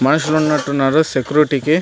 మనుషులు ఉన్నటు ఉన్నారు సెక్యూరిటీ కి.